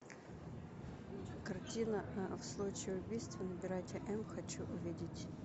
картина в случае убийства набирайте м хочу увидеть